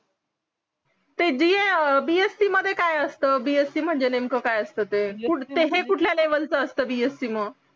ते bsc मध्ये काय असत bsc म्हणजे नेमक काय असता ते हे कुठल्या लेवलच असत bsc मग